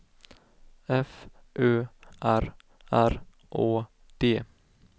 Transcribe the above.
F Ö R R Å D